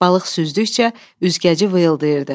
Balıq süzdükcə üzgəci vıyıldayırdı.